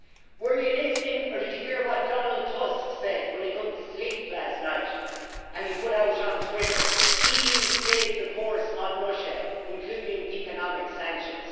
Was he listening or did he hear what Donald Tusk said when he could not sleep last night, and he put out on Twitter EU stays the course on Russia, including economic sanctions'.